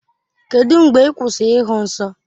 Kedụ mgbe ị kwụsịrị ịhụ nsọ?